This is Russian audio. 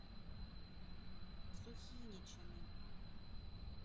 сухиничами